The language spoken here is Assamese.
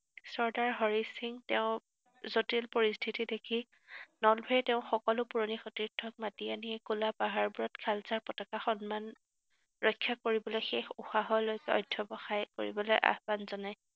চৰ্দাৰ হৰি সিং তেওঁ জটিল পৰিস্থিতি দেখি নলভেয়ে তেওঁৰ সকলো পুৰণি সতীৰ্থক মাতি আনি একোলা পাহাৰবোৰত খালছা পতাকা সন্মান ৰক্ষা কৰিবলৈ শেষ উশাহলৈ অধ্যৱসায় কৰিবলৈ আহ্বান জনায়।